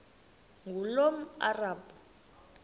ngulomarabu